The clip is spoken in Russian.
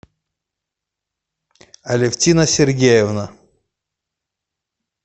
алевтина сергеевна